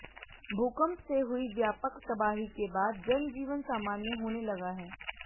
भूकंप से हुई व्यापक तबाही के बाद जनजीवन सामान्य होने लगा है